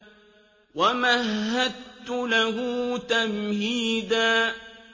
وَمَهَّدتُّ لَهُ تَمْهِيدًا